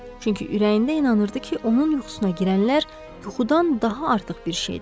Çünki ürəyində inanırdı ki, onun yuxusuna girənlər yuxudan daha artıq bir şeydir.